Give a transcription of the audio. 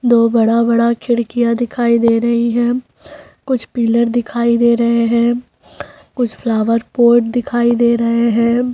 दो बड़ा-बड़ा खिड़कियाँ दिखाई दे रही हैं कुछ पिलर दिखाई दे रहें हैं कुछ फ्लावर पोट दिखाई दे रहें हैं।